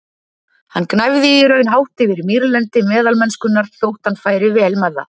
Hann gnæfði í raun hátt yfir mýrlendi meðalmennskunnar, þótt hann færi vel með það.